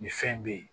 Nin fɛn be yen